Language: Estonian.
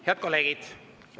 Head kolleegid!